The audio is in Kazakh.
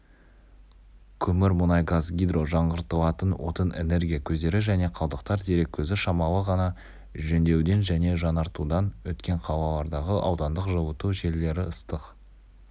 көмір мұнай газ гидро жаңғыртылатын отын энергия көздері және қалдықтар дерек көзі шамалы ғана жөндеуден және жаңартудан өткен қалалардағы аудандық жылыту желілері ыстық